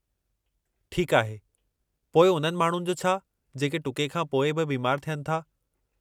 ठीकु आहे, पोइ उन्हनि माण्हुनि जो छा जेके टुके खां पोइ बि बीमार थियनि था?